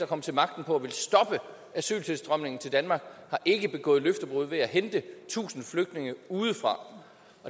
kom til magten på at ville stoppe asyltilstrømningen til danmark har ikke begået løftebrud ved at hente tusind flygtninge udefra